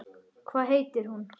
Hvað heitir hún, Einar?